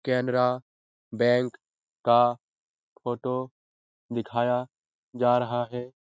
कैनरा बैंक का फोटो दिखाया जा रहा है।